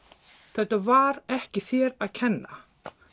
þetta var ekki þér kenna